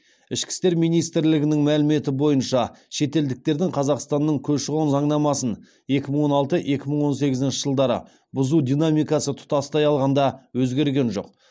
ішкі істер министрлігінің мәліметі бойынша шетелдіктердің қазақстанның көші қон заңнамасын екі мың он алты екі мың он сегізінші жылдары бұзу динамикасы тұтастай алғанда өзгерген жоқ